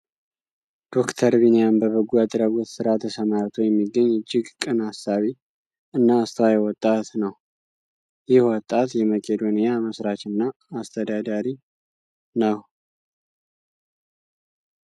ዶክተር ቢኒያም በበጎ አድራጎት ስራ ተሰማርቶ የሚገኝ እጅግ ቅን አሳቢ እና አስተዋይ ወጣት ነዉ። ይህ ወጣት የመቄዶንያ መስራች እና አስተዳዳሪ ነው።